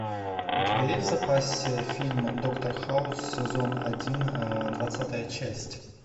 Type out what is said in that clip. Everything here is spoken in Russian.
у тебя есть в запасе фильм доктор хаус сезон один двадцатая часть